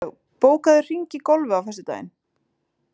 Sveinlaug, bókaðu hring í golf á föstudaginn.